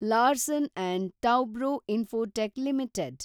Larsen and Toubro Infotech limited